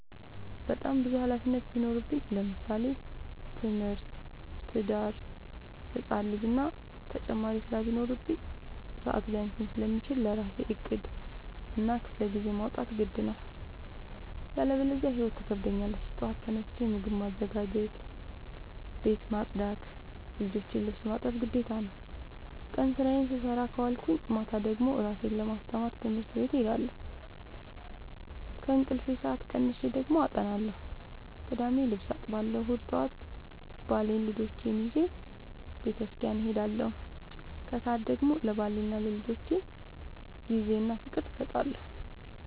በጣም ብዙ ሀላፊነት ቢኖርብኝ ለምሳሌ፦ ትምህርት፣ ትዳር፣ ህፃን ልጂ እና ተጨማሪ ስራ ቢኖርብኝ። ሰዐት ሊያንሰኝ ስለሚችል ለራሴ ዕቅድ እና ክፍለጊዜ ማውጣት ግድ ነው። ያለበዚያ ህይወት ትከብደኛለች ጠዋት ተነስቼ ምግብ ማዘጋጀት፣ ቤት መፅዳት የልጆቼን ልብስ ማጠብ ግዴታ ነው። ቀን ስራዬን ስሰራ ከዋልኩኝ ማታ ደግሞ እራሴን ለማስተማር ትምህርት ቤት እሄዳለሁ። ከእንቅልፌ ሰአት ቀንሼ ደግሞ አጠናለሁ ቅዳሜ ልብስ አጥባለሁ እሁድ ጠዋት ባሌንና ልጆቼን ይዤ በተስኪያን እሄዳለሁ። ከሰዓት ደግሞ ለባሌና ለልጆቼ ጊዜ እና ፍቅር እሰጣለሁ።